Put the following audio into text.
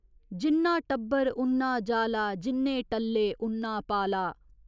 जिन्ना टब्बर उन्ना जाला, जिन्ने टल्ले उन्ना पाला।